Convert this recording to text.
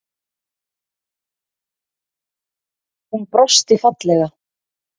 Hún brosti fallega.